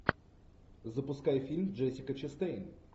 запускай фильм джессика честейн